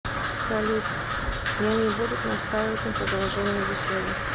салют я не будут настаивать на продолжении беседы